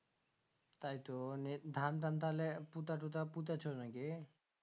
তাইতো নি ধান টান তাহালে পুতা টুটা পুতেছো নাকি